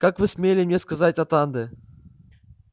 как вы смели мне сказать атанде